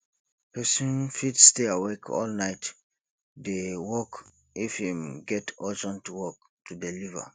persin fit stay awake all night de work if im get urgent work to deliever